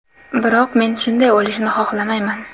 Biroq men shunday o‘lishni xohlamayman.